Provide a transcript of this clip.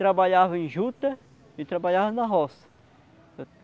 Trabalhava em juta e trabalhava na roça.